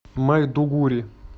майдугури